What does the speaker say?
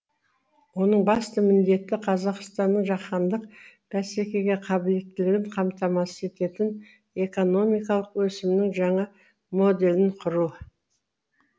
оның басты міндеті қазақстанның жаһандық бәсекеге қабілеттілігін қамтамасыз ететін экономикалық өсімнің жаңа моделін құру